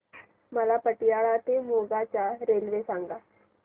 मला पतियाळा ते मोगा च्या रेल्वे सांगा